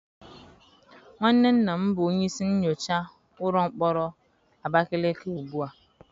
Nwanne nna m bụ onye isi nyocha ụlọ mkpọrọ Abakaleke ugbu a.